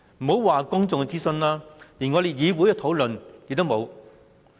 莫說公眾諮詢，就連議會討論也沒有。